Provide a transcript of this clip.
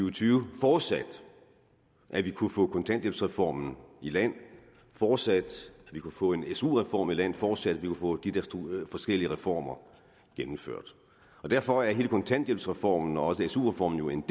og tyve forudsat at vi kunne få kontanthjælpsreformen i land forudsat at vi kunne få en su reform i land forudsat at vi kunne få de der forskellige reformer gennemført derfor er hele kontanthjælpsreformen og også su reformen jo en